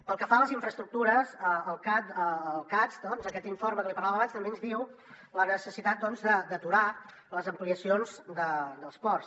pel que fa a les infraestructures el cads aquest informe que n’hi parlàvem abans també ens diu la necessitat d’aturar les ampliacions dels ports